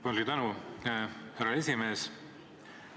Palju tänu, härra esimees!